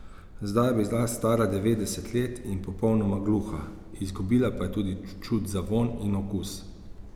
Zdaj je bila stara devetdeset let in popolnoma gluha, izgubila pa je tudi čut za vonj in okus.